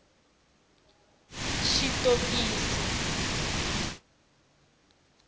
xitokisi